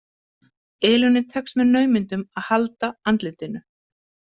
Elínu tekst með naumindum að halda andlitinu.